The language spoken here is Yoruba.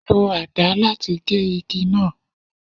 Lo àdá láti gé igi náà.